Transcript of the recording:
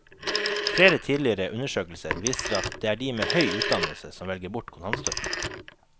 Flere tidligere undersøkelser viser at det er de med høy utdannelse som velger bort kontantstøtten.